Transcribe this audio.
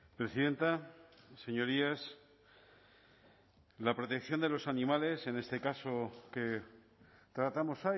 presidenta señorías la protección de los animales en este caso que tratamos